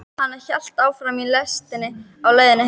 Hann hélt áfram í lestinni á leiðinni heim.